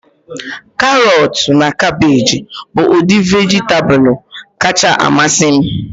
Karọtu na kabeeji bụ udi vejitabulu kacha amasị m